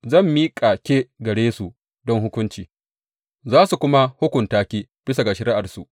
Zan miƙa ke gare su don hukunci, za su kuma hukunta ki bisa ga shari’arsu.